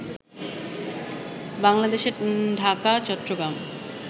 বাংলাদেশে ঢাকা, চট্টগ্রাম